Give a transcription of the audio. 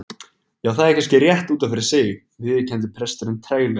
Já, það er kannski rétt út af fyrir sig- viðurkenndi presturinn treglega.